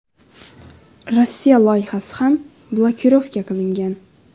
Rossiya loyihasi ham blokirovka qilingan.